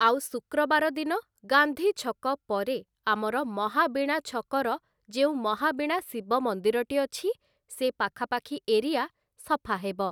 ଆଉ ଶୁକ୍ରବାର ଦିନ ଗାନ୍ଧୀ ଛକ ପରେ, ଆମର ମହାବୀଣା ଛକର ଯେଉଁ ମହାବୀଣା ଶିବ ମନ୍ଦିରଟି ଅଛି, ସେ ପାଖାପାଖି ଏରିଆ ସଫା ହେବ ।